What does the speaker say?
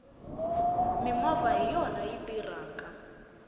mimovha hiyona yi tirhaka